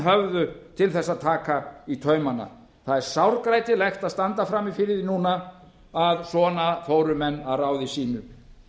höfðu til þess að taka í taumana það er sárgrætilegt að standa frammi fyrir því núna að svona fóru menn að ráði sínu